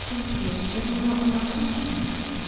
всем привет я думаю она конченая